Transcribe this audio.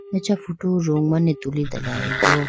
acha photo room mane tulitelayibo.